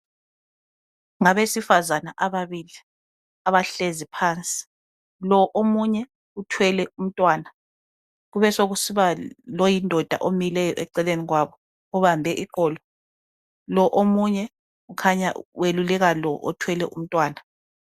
Ngabesifazana ababili abahlezi phansi lo omunye uthwele umntwana kubesokusiba loyindoda omileyo eceleni kwabo obambe iqolo, lo omunye ukhanya weluleka lo othwele umntwana.